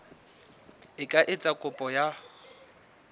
a ka etsa kopo ya